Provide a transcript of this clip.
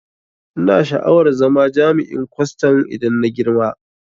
Ina sha'awar zama jami'in kwaston idan na girma